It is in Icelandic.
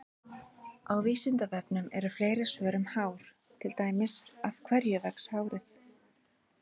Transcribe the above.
Á Vísindavefnum eru fleiri svör um hár, til dæmis: Af hverju vex hárið?